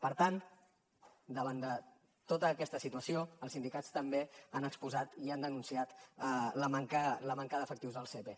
per tant davant de tota aquesta situació els sindicats també han exposat i han denunciat la manca d’efectius al sepe